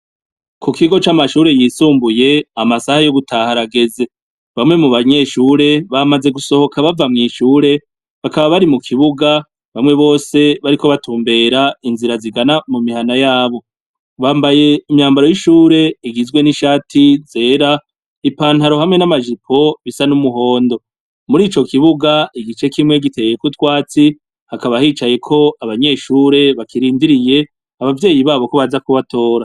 Ku kigo c'amashure yisumbuye amasaha yo gutaharageze bamwe mu banyeshure bamaze gusohoka bava mw'ishure bakaba bari mu kibuga bamwe bose bariko batumbera inzira zigana mu mihana yabo bambaye imyambaro y'ishure igizwe n'ishati zera ipantaro hamwe n'amajipo n'umuhondo muri ico kibuga igice kimwe giteyekoutwatsi hakabahicaye ko abanyeshure bakirindiriye abavyeyi babo ko baza kubatora.